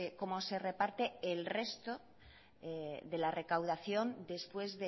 cómo se reparte el resto de la recaudación después